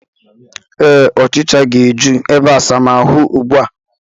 Ee, ọchịcha ga-eju n'ebeasamaahụ ugbu a